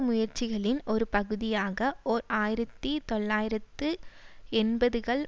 முயற்சிகளின் ஒரு பகுதியாக ஓர் ஆயிரத்தி தொள்ளாயிரத்து எண்பதுகள்